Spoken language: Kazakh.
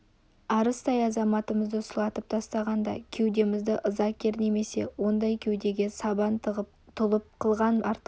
арыстай азаматымызды сұлатып тастағанда кеудемізді ыза кернемесе ондай кеудеге сабан тығып тұлып қылған артық